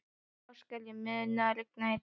Ástgerður, mun rigna í dag?